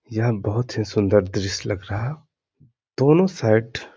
यह बोहोत ही सुन्दर दृश्य लग रहा दोनों साइड --